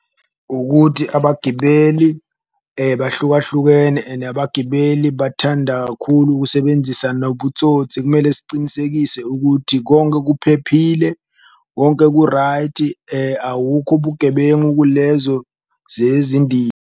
Ukuthi abagibeli bahlukahlukene ene abagibeli bathanda kakhulu ukusebenzisa nobutsotsi kumele sicinisekise ukuthi konke kuphephile, konke ku-right awukho obugebengu kulezo .